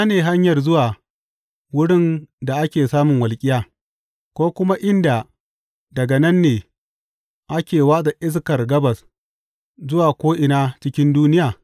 Ina ne hanyar zuwa wurin da ake samun walƙiya, ko kuma inda daga nan ne ake watsa iskar gabas zuwa ko’ina cikin duniya?